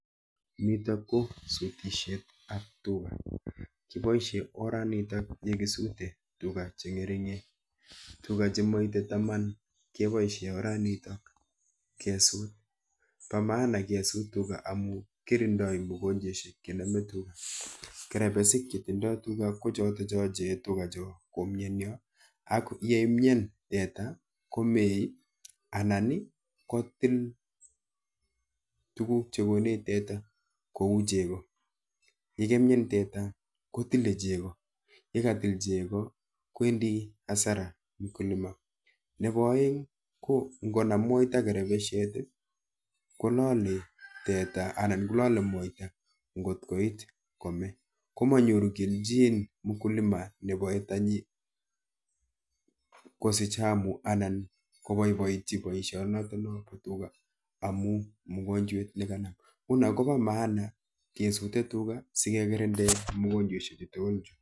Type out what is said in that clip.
Nitok ko sutishetap tuga. Kiboishe oranitok yokisute tuga cheng'ering'en, tuga chemoite taman keboishe oranitok kesut. Po maana kesut tuga amu kirindoi mugonjweshek chenome tuga. Kerepesik chetindoi tuga ko chotocho cheyoe tugacho komienyo ako yeimyen teta komee anan kotil tuguk chekonech teta kou chego. Yikemien teta kotile chego, yekatil chego kwendi hasara mkulima. Nepo oeng ko nkonam moita kerepeshet kolole teta anan kololer moita nkot koit kome, komonyoru kelchin mkulima nepoe tanyi kosich hamu anan kopoipoitchi boishonotono po tuga amu mugonjwet nekanam. Nguno kopo [csmaana kesute tuga sikekirinde mugonjweshe chu tugul chu.